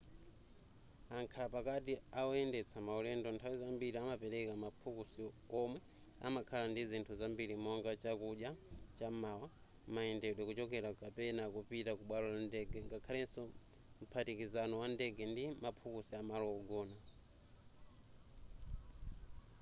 amkhala pakati awoyendetsa maulendo nthawi zambiri amapereka maphukusi omwe amakhala ndizinthu zambiri monga chakudya cham'mawa mayendedwe kuchokera kapena kupita ku bwalo la ndege ngakhaleso mphatikizano wa ndege ndi maphukusi amalo ogona